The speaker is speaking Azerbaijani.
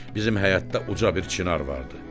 Bizim həyətdə uca bir çinar vardı.